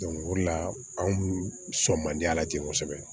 o de la anw kun sɔn man di a la ten kosɛbɛ